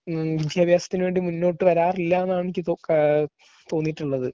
ഉം വിദ്യാഭ്യാസത്തിനു വേണ്ടി മുന്നോട്ടു വരാറില്ലാന്നാണ് എനിക്ക് തോന്നു ഏഹ് തോന്നിയിട്ടുള്ളത്.